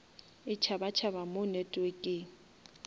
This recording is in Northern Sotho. e tšhaba tšhaba mo networkeng